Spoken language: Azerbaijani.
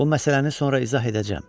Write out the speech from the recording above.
Bu məsələni sonra izah edəcəm.